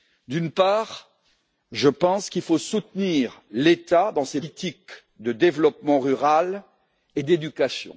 D'une part, je pense qu'il faut soutenir l'État dans ses politiques de développement rural et d'éducation.